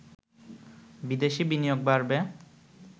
বিদেশি বিনিয়োগ বাড়বে